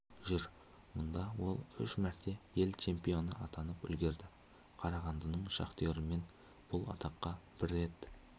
жүр мұнда ол үш мәрте ел чемпионы атанып үлгерді қарағандының шахтерімен бұл атаққа бір рет